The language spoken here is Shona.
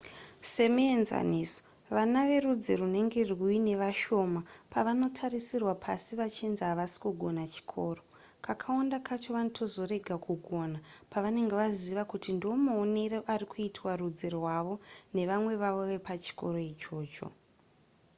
semuenzaniso vana verudzi runenge ruine vashoma pavanotarisirwa pasi vachinzi havasi kugona chikoro kakawanda kacho vanotozorega kugona pavanenge vaziva kuti ndomaonerwo ari kuitwa rudzi rwavo nevamwe vanhu vepachikoro ichocho